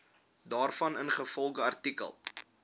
daarvan ingevolge artikel